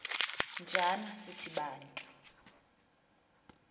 njana sithi bantu